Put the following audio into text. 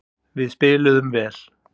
Við spiluðum vel.